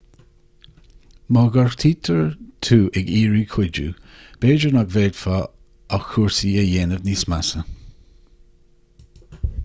má ghortaítear tú ag iarraidh cuidiú b'fhéidir nach bhféadfá ach cúrsaí a dhéanamh níos measa